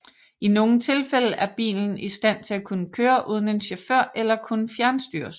I nogle tilfælde er bilen i stand til at kunne køre uden en chauffør eller kunne fjernstyres